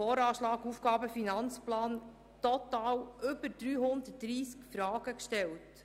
Dabei haben sie total über 330 Fragen gestellt.